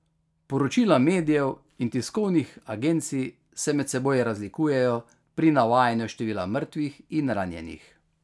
Poročila medijev in tiskovnih agencij se med seboj razlikujejo pri navajanju števila mrtvih in ranjenih.